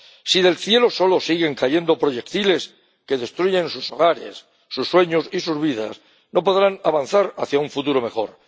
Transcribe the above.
Si del cielo solo siguen cayendo proyectiles que destruyen sus hogares, sus sueños y sus vidas, no podrán avanzar hacia un futuro mejor.